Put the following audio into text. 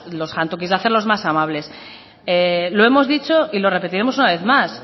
los jantokis de hacerlos más amables lo hemos dicho y lo repetiremos una vez más